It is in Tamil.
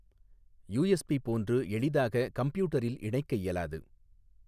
யூஎஸ்பி போன்று எளிதாக கம்ப்யூட்டரில் இணைக்க இயலாது.